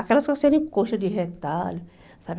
Aquelas com a Alcione colcha de retalho, sabe?